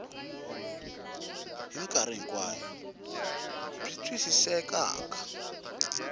hi mikarhi hinkwayo byi twisisekaka